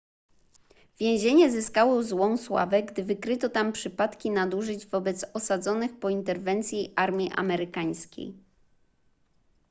więzienie zyskało złą sławę gdy wykryto tam przypadki nadużyć wobec osadzonych po interwencji armii amerykańskiej